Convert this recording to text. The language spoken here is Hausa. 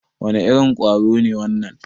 Wane irin ƙwaro ne wannan?